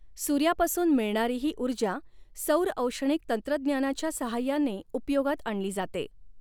सूर्यापासून मिळणारी ही ऊर्जा सौरऔष्णिक तंत्रज्ञानाच्या साहाय्याने उपयोगात आणली जाते.